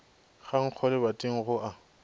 ga nkgo lebating go a